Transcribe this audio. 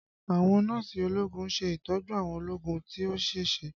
Àwọn Nọ́ọ̀sì ológun ṣe ìtọ́jú àwọn ológun tí ó ṣèṣe